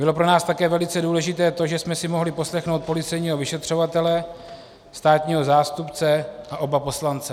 Bylo pro nás také velice důležité to, že jsme si mohli poslechnout policejního vyšetřovatele, státního zástupce a oba poslance.